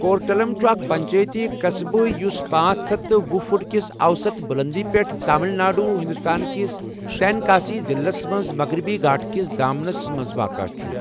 کورٹلم چھُ اکھ پنچٲیتی قصبہٕ یُس پانژھ ہتھ تہٕ ۄہُ فٹ کِس اوسط بُلنٛدی پٮ۪ٹھ، تامل ناڈو، ہندوستان کِس تینکاسی ضِلعَس منٛز مغربی گھاٹ کِس دامنَس منٛز واقعہ چھُ ۔